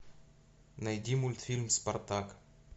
найди мультфильм спартак